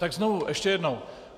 Tak znovu, ještě jednou.